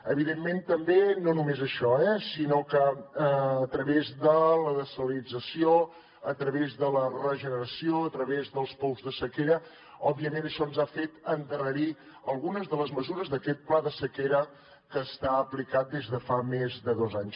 evidentment també no només això sinó que a través de la dessalinització a través de la regeneració a través dels pous de sequera òbviament això ens ha fet endarrerir algunes de les mesures d’aquest pla de sequera que està aplicat des de fa més de dos anys